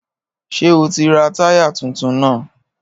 Ṣé o ti ra táyà tuntun náà?